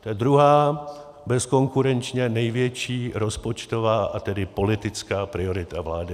To je druhá bezkonkurenčně největší rozpočtová, a tedy politická priorita vlády.